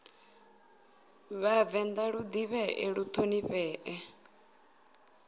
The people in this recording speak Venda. vhavenḓa lu ḓivhee lu ṱhonifhee